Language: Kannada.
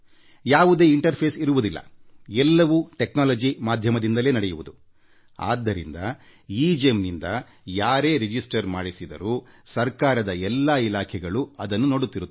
ಯಾವುದೇ ಮಧ್ಯಪ್ರವೇಶ ಇರುವುದಿಲ್ಲ ಎಲ್ಲವೂ ತಂತ್ರಜ್ಞಾನದಿಂದ ನಡೆಯುತ್ತದೆ ಹಾಗಾಗಿ ಯಾವಾಗ ಜನ ಎಗೆಮ್ ನಲ್ಲಿ ನೋಂದಣಿ ಮಾಡಿಸುತ್ತಾರೋ ಆಗ ಸರ್ಕಾರದ ಎಲ್ಲ ಇಲಾಖೆಗಳೂ ಅದನ್ನು ನೋಡಬಹುದು